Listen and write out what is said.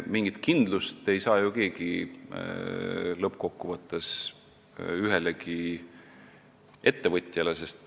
Mitte keegi ei saa ju lõppkokkuvõttes anda mingit kindlust ühelegi ettevõtjale.